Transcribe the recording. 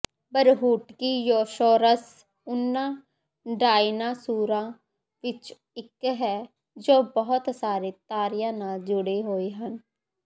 ਬਰੂਹਟਕੀਯੋਸੌਰਸ ਉਹਨਾਂ ਡਾਇਨਾਸੌਰਾਂ ਵਿਚੋਂ ਇਕ ਹੈ ਜੋ ਬਹੁਤ ਸਾਰੇ ਤਾਰਿਆਂ ਨਾਲ ਜੁੜੇ ਹੋਏ ਹਨ